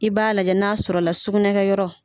I b'a lajɛ n'a sɔrɔ la sugunɛ kɛ yɔrɔ.